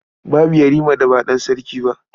Babu Yarima da ba ɗan sarki ba.